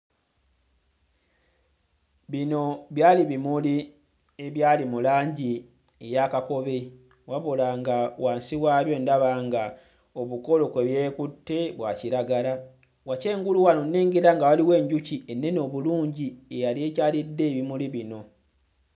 Bino byali bimuli ebyali mu langi eya kakobe, wabula nga wansi waabyo ndaba nga obukolo kwe byekutte bwa kiragala. Wakyengulu wano nnengera nga waliwo enjuki ennene obulungi eyali ekyalidde ebimuli bino.